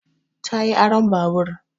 Ta yi aron babur